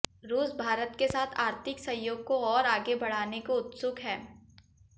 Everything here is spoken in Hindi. रूस भारत के साथ आर्थिक सहयोग को और आगे बढ़ाने को उत्सुक है